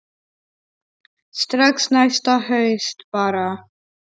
Strax næsta haust bara.